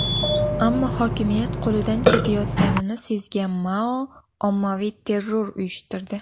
Ammo hokimiyat qo‘lidan ketayotganini sezgan Mao ommaviy terror uyushtirdi.